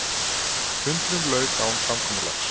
Fundinum lauk án samkomulags